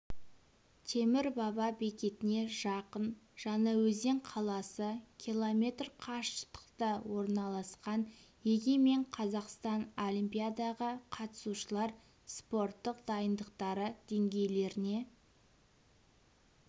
темір баба бекетіне жақын жаңаөзен қаласы км қашықтықта орналасқан егемен қазақстан олимпиадаға қатысушылар спорттық дайындықтары деңгейлеріне